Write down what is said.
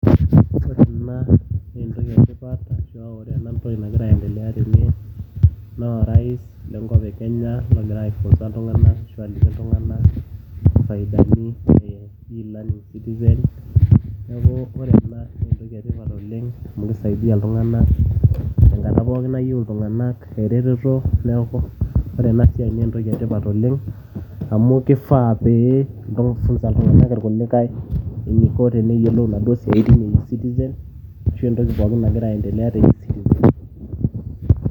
ore ena naa entumo etipat nagira aendelea tene. naa orais le nkop e kenya ogira aifunsa ltung'anak ashu aliki iltung'anak. faidani e ecitizen, neeku ore ena naa entoki e tipat oleng'.amu kisaidia iltung'anak te nkata pookin nayieu iltung'anak eretoto. neeku ore ena siai naa entoki etipat, amu kifaa nifunsa iltunganak irkulikae isiatine ectizen, ashu entoki nagira aendelea tene.